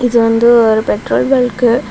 இது வந்து ஒரு பெட்ரோல் பங்க் .